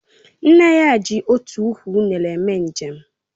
Nne ya ji otu ukwu unere mee njem